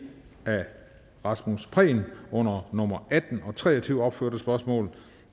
af rasmus prehn under nummer atten og tre og tyve opførte spørgsmål